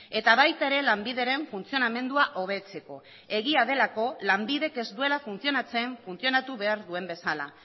eta baita ere lanbideren funtzionamendua hobetzeko egia delako lanbidek ez duela funtzionatzen funtzionatu behar duen bezala